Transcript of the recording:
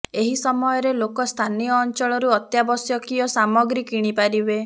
ଏହି ସମୟରେ ଲୋକ ସ୍ଥାନୀୟ ଅଞ୍ଚଳରୁ ଅତ୍ୟାବଶ୍ୟକୀୟ ସାମଗ୍ରୀ କିଣିପାରିବେ